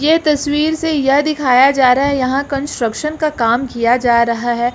यह तस्वीर से यह दिखाया जा रहा है यहां कंस्ट्रक्शन का काम किया जा रहा है।